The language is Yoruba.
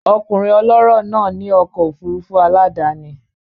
Ọkùnrin ọlọ́rọ̀ náà ní ọkọ̀ òfurufú aládàáni